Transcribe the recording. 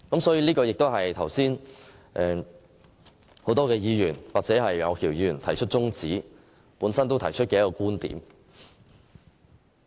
這亦是剛才很多議員支持楊岳橋議員提出中止待續的其中一個論點。